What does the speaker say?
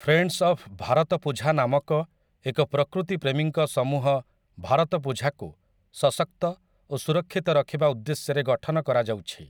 Friends of Bharathapuzha' ନାମକ ଏକ ପ୍ରକୃତି ପ୍ରେମୀଙ୍କ ସମୂହ ଭାରତପୁଝାକୁ ସଶକ୍ତ ଓ ସୁରକ୍ଷିତ ରଖିବା ଉଦ୍ଦେଶ୍ୟରେ ଗଠନ କରାଯାଉଛି ।